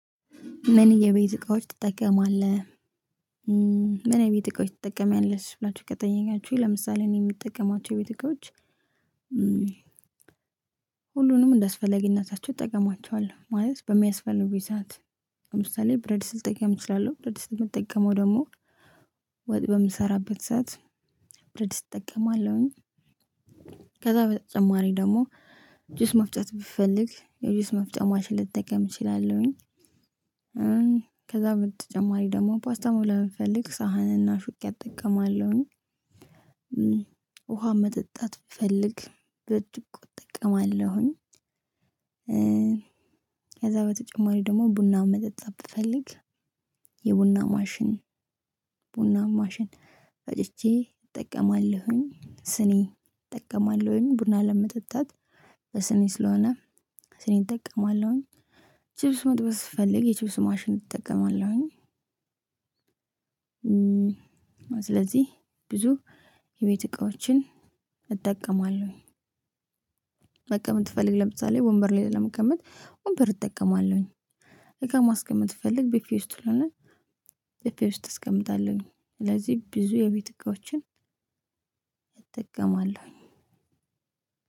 ምን የቤት እቃዎች ትጠቀማለህ? ምን የቤት እቃዎች ትጠቀሚያለሽ? ብላችሁ ከጠየቃችሁኝ ለምሳሌ እኔ የምጠቀማቸው የቤት እቃዎች ሁሉንም እንዳስፈለግነታቸው እጠቀማቸዋለሁ። ማለት በሚያስፈልጉኝ ሰዓት ለምሳሌ: ብረት ድስት ልጠቀም እችላለሁ። ብረት ድስት የምትጠቀመው ደግሞ ወጥ በምሰራበት ሰዓት ብረት ድስት እጠቀማለሁኝ። ከዛ በተጨማሪ ደግሞ ጁስ መፍጨት ብትፈልግ የጁስ መፍጫ ማሽን ልጠቀም እችላለሁኝ። ከዛ በተጨማሪ ደግሞ ፓስታ መብላት ብፈልግ ሳህንና ሹካ እጠቀማለሁኝ። ውሃ መጠጣት ብፈልግ ብርጭቆ እጠቀማለሁኝ። ከዛ በተጨማሪ ደግሞ ቡና መጠጣት ብፈልግ የቡና ማሽን፤ በቡና ማሽን ፈጭቼ እጠቀማለሁኝ። ስኒ እጠቀማለሁኝ። ቡና ለመጠጣት በስኒ ስለሆነ ስኒ እጠቀማለሁኝ። ቺፕስ መጥበስ ስፈልግ የቺፕስ ማሽን እጠቀማለሁኝ። ስለዚህ ብዙ የቤት እቃዎችን እጠቀማለሁኝ። መቀመጥ ብፈልግ፤ ወንበር ላይ ለመቀመጥ ወንበር እጠቀማለሁኝ። እቃ ማስቀመጥ ብፈልግ ብፌ ውስጥ ለማስቀመጥ ከሆነ ብፌ ውስጥ አስቀምጣለሁኝ። ስለዚህ ብዙ የቤት እቃዎችን እጠቀማለሁኝ።